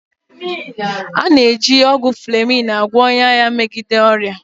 A na-eji ọgwụ fleming agwọ ọnya ya megide ọrịa